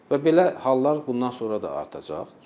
Və belə hallar bundan sonra da artacaq.